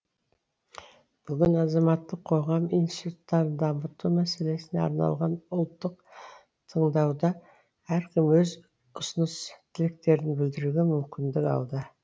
бүгін азаматтық қоғам институттарын дамыту мәселесіне арналған ұлттық тыңдауда әркім өз ұсыныс тілектерін білдіруге мүмкіндік алды